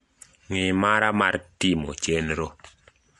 ngi` mara mar timo chenro